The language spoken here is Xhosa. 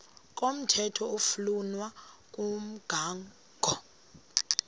komthetho oflunwa ngumgago